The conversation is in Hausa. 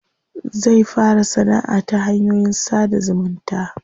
Zai fara sanaʼa ta hanyoyin sada zumunta.